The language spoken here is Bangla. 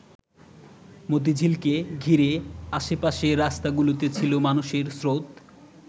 মতিঝিলকে ঘিরে আশে-পাশের রাস্তাগুলোতেও ছিল মানুষের স্রোত।